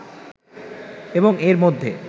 এবং এর মধ্যে